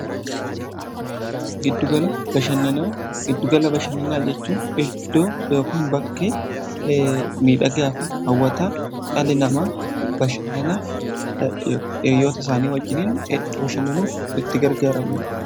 giddugala bashannanaa jechuun iddoo yookin bakki miidhagaa fi hawwataa dhalli namaa bashannanaaf yoo ta'u isaanii wajjiniin bashannanuuf itti gargaaramama